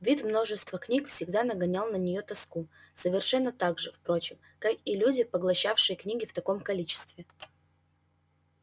вид множества книг всегда нагонял на нее тоску совершенно так же впрочем как и люди поглощавшие книги в таком количестве